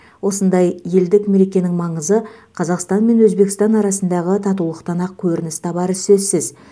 осындай елдік мерекенің маңызы қазақстан мен өзбекстан арасындағы татулықтан ақ көрініс табары сөзсіз